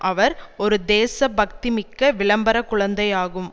அவர் ஒரு தேச பக்தி மிக்க விளம்பர குழந்தையாகும்